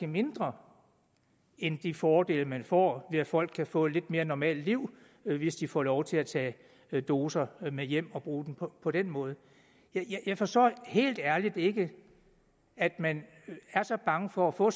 mindre end de fordele man får ved at folk kan få et lidt mere normalt liv hvis de får lov til at tage doserne med hjem og bruge dem på på den måde jeg forstår helt ærligt ikke at man er så bange for at få